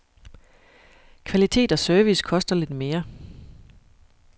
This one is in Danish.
Kvalitet og service koster lidt mere.